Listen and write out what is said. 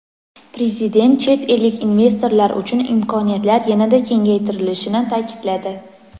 Prezident chet ellik investorlar uchun imkoniyatlar yanada kengaytirilishini ta’kidladi.